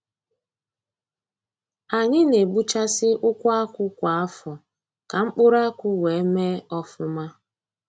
Anyi na-egbuchasị ukwu akwụ kwa afọ, ka mkpụrụ akwụ wee mee ọfụma.